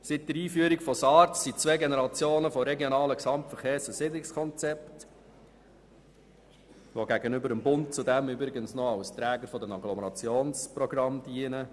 Seit der Einführung von SARZ wurden zwei Generationen von regionalen Gesamtverkehrs- und Siedlungskonzepten ausgearbeitet, die gegenüber dem Bund zudem als Träger der Agglomerationsprogramme dienen.